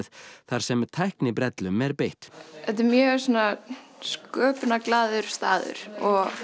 þar sem tæknibrellum er beitt þetta er mjög staður og